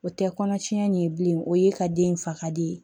O tɛ kɔnɔ tiɲɛ ye bilen o ye ka den faga de